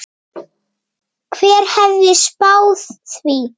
Hver hefði spáð því?